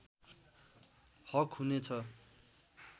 हक हुनेछ